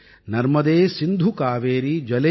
நர்மதே சிந்து காவேரீ ஜலே அஸ்மின் ஸன்னிதிம் குரு